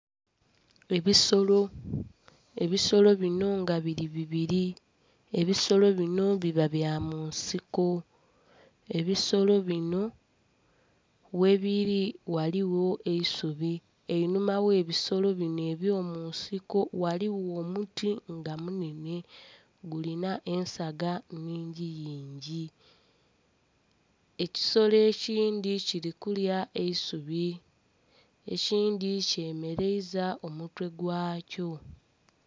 Ebisolo, ebisolo binho nga biri bibiri, ebisolo binho biba bya munsiko. Ebisolo binho ghe biri ghaligho eisubi, einhuma ghe bisolo binho ebyo munsiko ghaligho omuti nga munenhe gulinha ensaga nnhingi yingi, ekisolo ekindhi kili kulya eisubi ekindhi kyemereiza omutwe gwakyo.